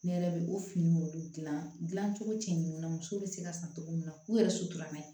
Ne yɛrɛ bɛ o finiw de dilan dilan cogo cɛn na muso bɛ se ka san cogo min na u yɛrɛ suturalama